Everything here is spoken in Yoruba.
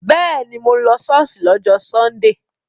Bẹ́ẹ̀ni, mo lọ ṣọ́ọ̀ṣì lọ́jọ́ sọ́ndè